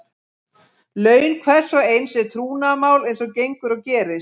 Laun hvers og eins er trúnaðarmál eins og gengur og gerist.